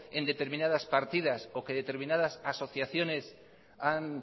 en determinadas partidas o que determinadas asociaciones han